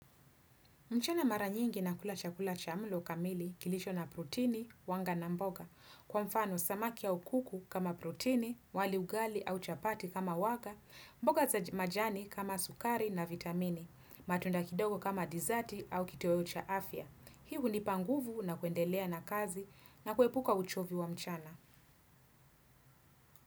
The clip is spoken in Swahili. Mchana mara nyingi na kula chakula cha mlo kamili kilicho na protini, wanga na mboga. Kwa mfano, samaki au kuku kama protini, wali ugali au chapati kama wanga, mboga za majani kama sukari na vitamini, matunda kidogo kama dizati au kitoeo cha afya. Hii hunipa nguvu na kuendelea na kazi na kuepuka uchovi wa mchana.